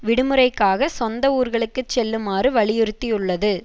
விடுமுறைக்காக சொந்த ஊர்களுக்குச் செல்லுமாறு வலியுறுத்தியுள்ளது